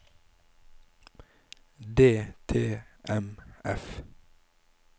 DTMF